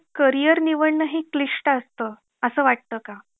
career निवडणं हे क्लिष्ट असतं असं वाटतं का?